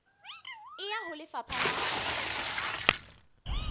e ya ho lefapha la